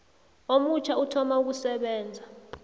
omutjha uthoma ukusebenza